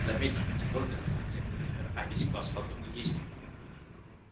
заметьте не только этот конкретный пример а весь класс подобных действий